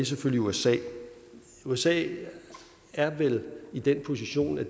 selvfølgelig usa usa er vel i den position at